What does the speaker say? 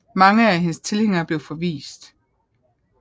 Mange af hendes tilhængere blev forvist